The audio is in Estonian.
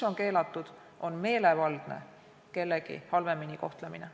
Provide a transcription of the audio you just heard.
Keelatud on meelevaldne kellegi halvemini kohtlemine.